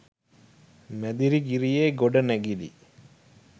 මැදිරිගිරියේ ගොඩනැගිලි